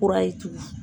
Kura ye tugunni